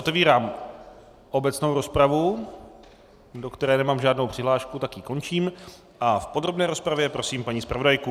Otevírám obecnou rozpravu, do které nemám žádnou přihlášku, tak ji končím a v podrobné rozpravě prosím paní zpravodajku.